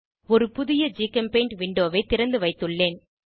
ஒரு புதிய ஜிகெம்பெய்ண்ட் விண்டோவை திறந்துவைத்துள்ளேன்